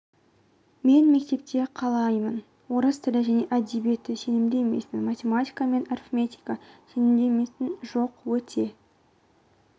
мен мектепте қалаймын орыс тілі және әдебиеті сенімді емеспін математика және арифметика сенімді емеспін жоқ өте